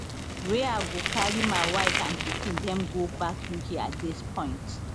wey i go carry my wife and pikin dem go back uk at dis point